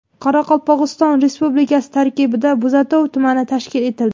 Qoraqalpog‘iston Respublikasi tarkibida Bo‘zatov tumani tashkil etildi.